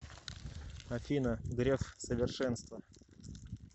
афина греф совершенство